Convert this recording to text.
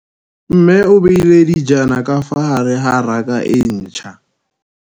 Mmê o beile dijana ka fa gare ga raka e ntšha.